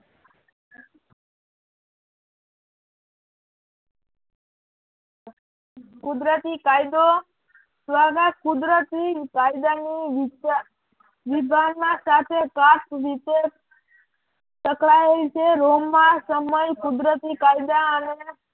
કુદરતી કાયદો દ્વારા કુદરતી કાયદાની દિત્ય વિભાવના સાથે ખાસ રીતે ટકરાયેલ છે. રોમમાં સમય કુદરતી કાયદા અને